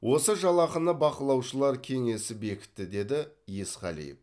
осы жалақыны бақылаушылар кеңесі бекітті деді есқалиев